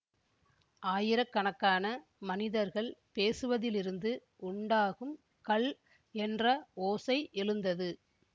ஆயிரக்கணக்கான மனிதர்கள் பேசுவதிலிருந்து உண்டாகும் கல் என்ற ஓசை எழுந்தது